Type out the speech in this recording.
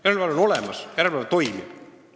Järelevalve on olemas, järelevalve toimib.